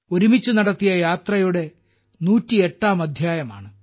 ഒരുമിച്ച് നടത്തിയ യാത്രയുടെ 108ാം അദ്ധ്യായമാണ്